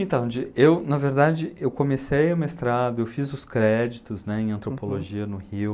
Então, de, eu, na verdade, eu comecei o mestrado, eu fiz os créditos, né, em antropologia no Rio.